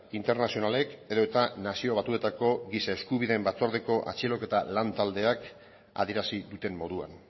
internazionalek edota nazio batuetako giza eskubideen batzordeko atxiloketa lan taldeak adierazi duten moduan